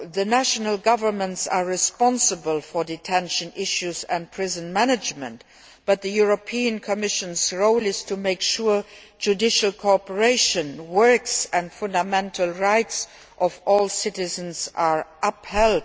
National governments are responsible for detention issues and prison management, but the Commission's role is to make sure that judicial cooperation works and fundamental rights of all citizens are upheld.